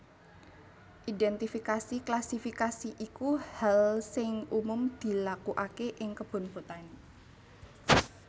Identifikasi klasifikasi iku hal sing umum dilakuake ing kebun botani